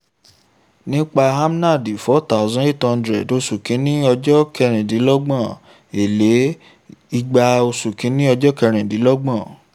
nípa amnand four thousand eight hundred oṣù kìíní ọjọ́ kerindinlogbon èlé igba oṣù kìíní ọjọ́ kerìndínlọ́gbọ̀n